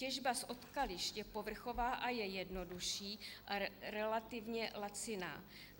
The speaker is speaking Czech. Těžba z odkališť je povrchová a je jednodušší a relativně laciná.